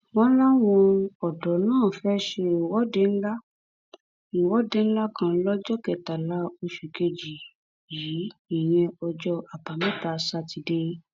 wọn láwọn ọdọ náà fẹẹ ṣe ìwọde ńlá ìwọde ńlá kan lọjọ kẹtàlá oṣù kejì yìí ìyẹn ọjọ àbámẹta sátidé